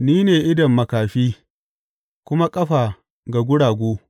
Ni ne idon makafi kuma ƙafa ga guragu.